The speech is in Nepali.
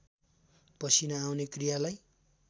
पसिना आउने क्रियालाई